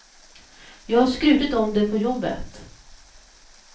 Jag har skrutit om det på jobbet.